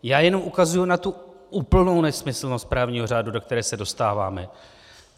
Já jenom ukazuji na tu úplnou nesmyslnost právního řádu, do které se dostáváme.